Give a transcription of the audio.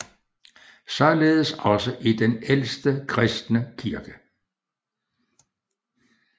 Således også i den ældste kristne kirke